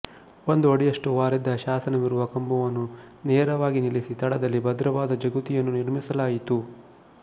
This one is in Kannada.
ಒಂದು ಅಡಿಯಷ್ಟು ವಾಲಿದ್ದ ಶಾಸನವಿರುವ ಕಂಬವನ್ನು ನೇರವಾಗಿ ನಿಲ್ಲಿಸಿ ತಳದಲ್ಲಿ ಭದ್ರವಾದ ಜಗುತಿಯನ್ನು ನಿರ್ಮಿಸಲಾಯಿತು